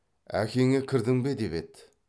әкеңе кірдің бе деп еді